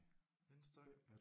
Vindstøj